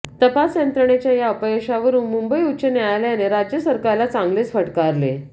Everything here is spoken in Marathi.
तपास यंत्रणांच्या या अपयशावरून मुंबई उच्च न्यायालयाने राज्य सरकारला चांगलेच फटकारले